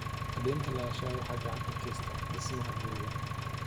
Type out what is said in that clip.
Cadaynta lahaanshaha waxay gacan ka geysataa dhismaha guri.